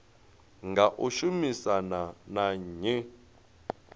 nga u shumisana na nnyi